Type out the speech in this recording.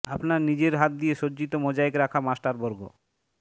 আপনার নিজের হাত দিয়ে সজ্জিত মোজাইক রাখা মাস্টার বর্গ